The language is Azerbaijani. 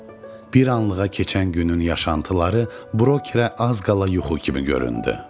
Bir anlığa keçən günün yaşantıları brokerə az qala yuxu kimi göründü.